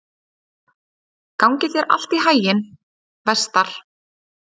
Gangi þér allt í haginn, Vestar.